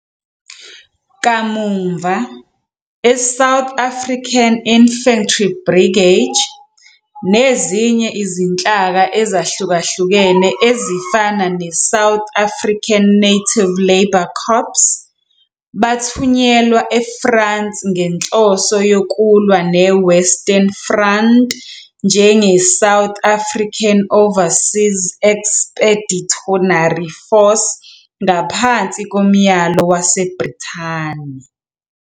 Kamuva, iSouth African Infantry Brigade, nezinye izinhlaka ezahlukahlukene ezifana neSouth African Native Labour Corps, bathunyelwa eFrance ngenhloso yokulwa neWestern Front njengeSouth African Overseas Expeditionary Force ngaphansi komyalo waseBrithani.